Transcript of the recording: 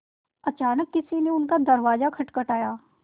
अचानक किसी ने उनका दरवाज़ा खटखटाया